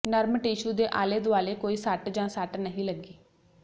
ਨਰਮ ਟਿਸ਼ੂ ਦੇ ਆਲੇ ਦੁਆਲੇ ਕੋਈ ਸੱਟ ਜਾਂ ਸੱਟ ਨਹੀਂ ਲੱਗੀ